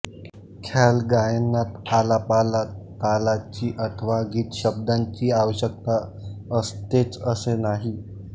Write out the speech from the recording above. ख्यालगायनात आलापाला तालाची अथवा गीतशब्दांची आवश्यकता असतेच असे नाही